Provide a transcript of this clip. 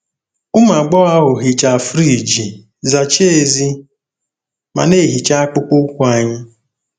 Ụmụ agbọghọ ahụ hichaa friji, zachaa èzí, ma na-ehicha akpụkpọ ụkwụ anyị.